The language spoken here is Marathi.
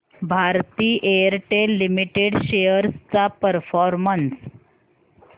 भारती एअरटेल लिमिटेड शेअर्स चा परफॉर्मन्स